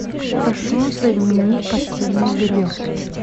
прошу заменить постельное белье